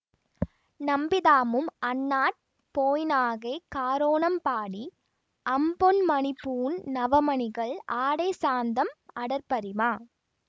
நம்பிதாமும் அந்நாட் போய்நாகைக் காரோணம்பாடி அம்பொன்மணிப்பூண் நவமணிகள் ஆடைசாந்தம் அடற்பரிமா